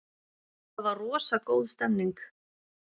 Það var rosa góð stemning.